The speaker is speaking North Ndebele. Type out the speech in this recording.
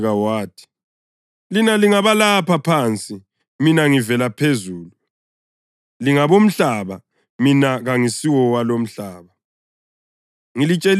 Kodwa waqhubeka wathi, “Lina lingabalapha phansi; mina ngivela phezulu. Lingabomhlaba; mina kangisiwalo umhlaba.